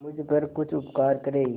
मुझ पर कुछ उपकार करें